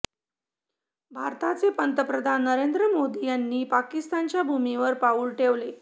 भारताचे पंतप्रधान नरेंद्र मोदी यांनी पाकिस्तानच्या भूमीवर पाऊल ठेवले